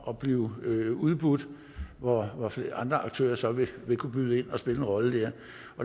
at blive udbudt hvor andre aktører så vil kunne byde ind og spille en rolle der